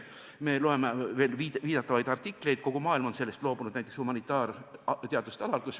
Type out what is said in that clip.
Me loeme ikka veel viidatavaid artikleid, kogu maailm on sellest aga humanitaarteaduste alal loobunud.